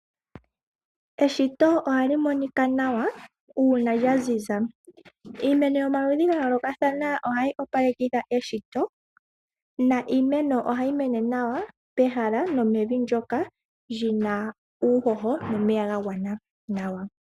Eshito oha li monika nawa uuna lya ziza. Iimeno yomaludhi ga yoolokathana oha yi opalekitha eshito na iimeno oha yi mene nawa pehala nomevi ndyoka ndyi na uuhoho nomeya ga gwana nawa.